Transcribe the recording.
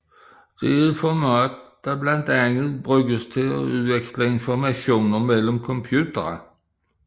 Det er et format der blandt andet bruges til at udveksle informationer mellem computere